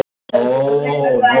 Ég sagði það víst.